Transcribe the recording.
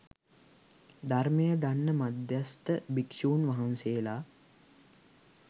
ධර්මය දන්න මධ්‍යස්ථ භික්‍ෂූන් වහන්සේලා